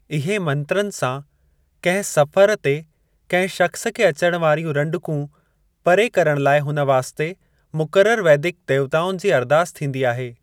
इहे मंत्रनि सां कहिं सफर ते कहिं शख्‍स खे अचण वारियूं रंडकूं परे करण लाए हुन वास्ते मुक़रर वैदिक देवताउनि जी अरदास थींदी आहे।